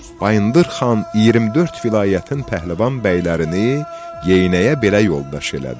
Bayındır xan 24 vilayətin pəhləvan bəylərini geyinəyə belə yoldaş elədi.